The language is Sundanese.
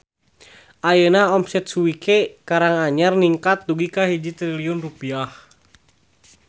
Ayeuna omset Swike Karang Anyar ningkat dugi ka 1 triliun rupiah